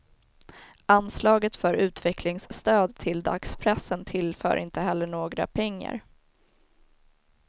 Anslaget för utvecklingsstöd till dagspressen tillför inte heller några pengar.